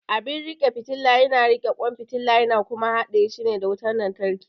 Abin riƙe fitila yana riƙe kwan fitila yana kuma haɗa shi da wutar lantarki.